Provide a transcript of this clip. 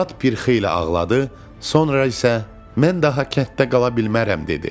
Polad bir xeyli ağladı, sonra isə mən daha kənddə qala bilmərəm dedi.